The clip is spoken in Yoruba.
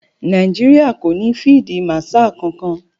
Nàìjíríà kò ní fíídí màṣaà kankan.